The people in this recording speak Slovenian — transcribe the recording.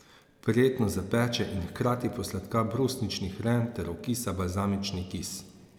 Prijetno zapeče in hkrati posladka brusnični hren ter okisa balzamični kis.